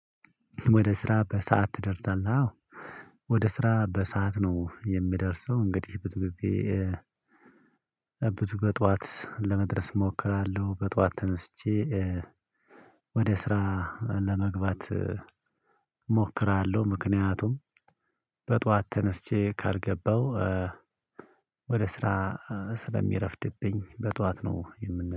ወደ ስራ በሰአት ትደርሳለህ? አዎ ወደ ስራ በሰአት ነው የምደርሰው እንግዲህ ብዙ ጊዜ ብዬ በጠዋት ለመድረስ እሞክራለሁ በጠዋት ተመስቼ ወደ ስራ ለመግባት እሞክራለሁ ምክንያቱም በጠዋት ተነስቼ ካልገባሁ ወደ ስራ ስለሚረፍድብኝ በጠዋት ነው የምን